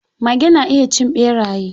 Mage na iya cin ɓeraye.